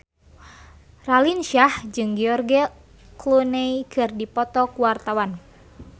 Raline Shah jeung George Clooney keur dipoto ku wartawan